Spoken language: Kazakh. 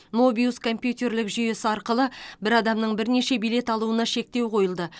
мобиус компьютерлік жүйесі арқылы бір адамның бірнеше билет алуына шектеу қойылды